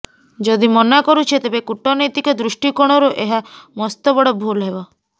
ଯଦି ମନା କରୁଛେ ତେବେ କୂଟନୈତିକ ଦୃଷ୍ଟିକୋଣରୁ ଏହା ମସ୍ତବଡ ଭୂଲ ହେବ